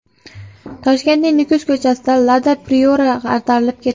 Toshkentning Nukus ko‘chasida Lada Priora ag‘darilib ketdi.